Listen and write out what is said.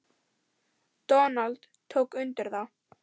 Donald tók undir það.